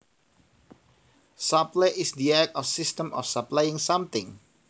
Supply is the act or system of supplying something